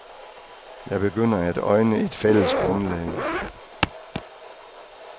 Jeg begynder at øjne et fælles grundlag.